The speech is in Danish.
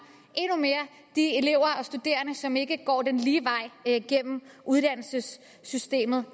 de elever og studerende som ikke går den lige vej igennem uddannelsessystemet